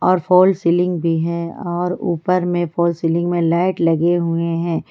और fall ceiling भी है और ऊपर में फॉल सीलिंग में लाइट लगे हुए है।